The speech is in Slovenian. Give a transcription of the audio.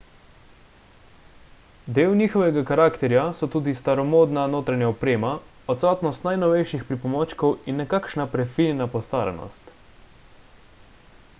del njihovega karakterja so tudi staromodna notranja oprema odsotnost najnovejših pripomočkov in nekakšna prefinjena postaranost